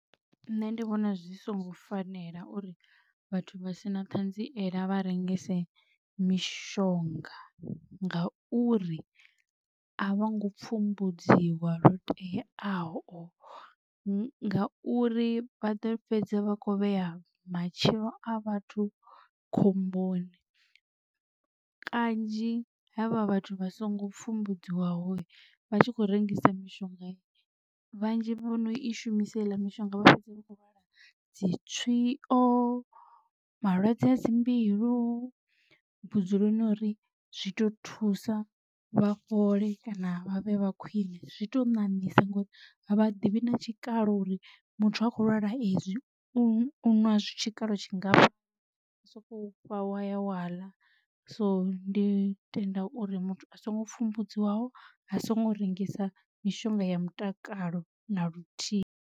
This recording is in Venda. Nṋe ndi vhona zwi songo fanela uri vhathu vha si na thanziela vha rengise mishonga, nga uri a vho ngo pfhumbudziwa lo teaho ngauri vha ḓo fhedza vha kho vhea matshilo a vhathu khomboni. Kanzhi havha vhathu vha songo pfumbudziwaho vha tshi khou rengisa mishonga vhanzhi vhono i shumisa heiḽa mishonga vha fhedza vhakho lwala dzi tswio malwadze a dzi mbilu. Vhudzuloni ho ri zwi to thusa vha fhole kana vha vhe vha khwine zwi to ṋaṋisa ngori avha ḓivhi na tshikalo uri muthu a khou lwala ezwi u ṅwa zwi tshikalo tshingafha soko fha waya waḽa. So ndi tenda uri muthu a songo pfumbudziwaho a songo rengisa mishonga ya mutakalo na luthihi.